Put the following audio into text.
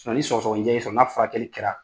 ni sɔgɔsɔgɔnijɛ y'i sɔrɔ , n'a furakɛli kɛra